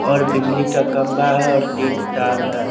और बिजली का खम्बा है तिन तार है।